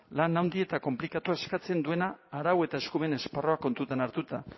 lan handia eta konplikatua eskatzen duena arau eta eskumen esparrua kontuan hartuta